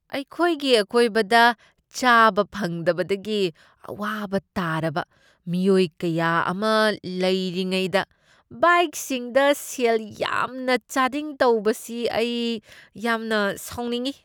ꯑꯩꯈꯣꯏꯒꯤ ꯑꯀꯣꯏꯕꯗ ꯆꯥꯕ ꯐꯪꯗꯕꯗꯒꯤ ꯑꯋꯥꯕ ꯇꯥꯔꯕ ꯃꯤꯑꯣꯏ ꯀꯌꯥ ꯑꯃ ꯂꯩꯔꯤꯉꯩꯗ ꯕꯥꯏꯛꯁꯤꯡꯗ ꯁꯦꯜ ꯌꯥꯝꯅ ꯆꯥꯗꯤꯡ ꯇꯧꯕꯁꯤ ꯑꯩ ꯌꯥꯝꯅ ꯁꯥꯎꯅꯤꯡꯢ ꯫